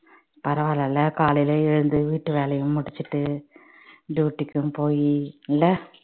பரவால்லல காலையில எழுந்து வீட்டு வேலையும் முடிச்சிட்டு duty க்கும் போயி இல்ல